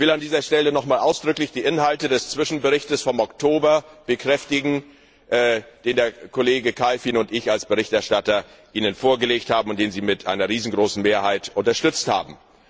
Ich will an dieser Stelle nochmals ausdrücklich die Inhalte des Zwischenberichts vom Oktober bekräftigen, den der Kollege Kalfin und ich Ihnen als Berichterstatter vorgelegt haben und den Sie mit einer riesengroßen Mehrheit unterstützt haben.